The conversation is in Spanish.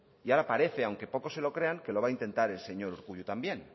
y ahora parece aunque pocos se lo crean que lo va a intentar el señor urkullu también